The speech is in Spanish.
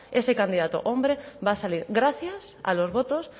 ese candidato hombre va a salir gracias a los votos